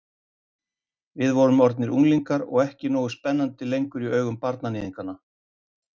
Við vorum orðnar unglingar og ekki nógu spennandi lengur í augum barnaníðinganna.